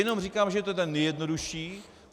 Jenom říkám, že je to ten nejjednodušší.